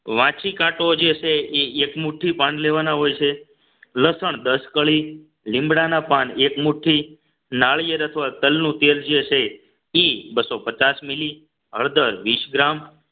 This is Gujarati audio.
વાંચી કાઢો જે છે એ એક મુઠ્ઠી પાન લેવાના હોય છે લસણ દસકડી લીમડાના પાન એક મુઠ્ઠી નાળિયેર અથવા તલનું તેલ જે છે એ બસો પચાસ mili હળદર વીસ ગ્રામ